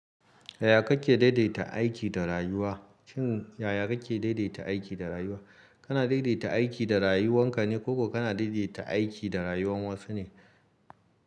Yaya kake daidaita aiki da rayuwa? Shin yaya kake daidaita aiki da rayuwa? Kana daidaita aiki da rayuwan ka ne ko kuma kana daidaita aiki da rayuwan wasu ne?